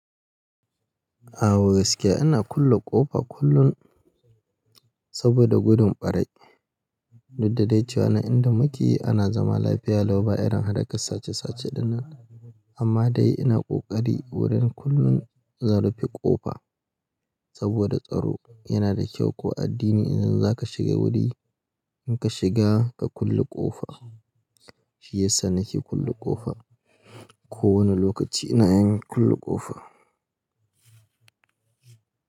A gaskiya ina kulle ƙofa kullum saboda gudun ɓaarayi. Duk da dai cewa nan inda muke ana zama lafiya lau ba irin hadaka sace sace dinnan. Amma dai ina ƙoƙari wurin kullum zan rufe ƙofa saboda tsaro. Yana da kyau ko addini in zan za ka shiga wuri, in ka shiga ka kulle ƙofa. Shi yasa nake kulle ƙofa. Ko wane lokaci ina yin kulle ƙofa.